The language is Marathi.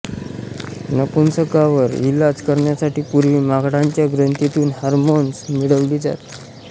नपुंसकांवर इलाज करण्यासाठी पूर्वी माकडांच्या ग्रंथीतून हार्मोन्स मिळवली जात